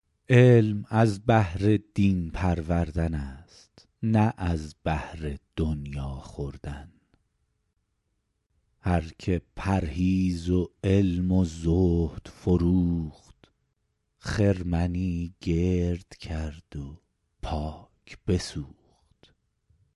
علم از بهر دین پروردن است نه از بهر دنیا خوردن هر که پرهیز و علم و زهد فروخت خرمنی گرد کرد و پاک بسوخت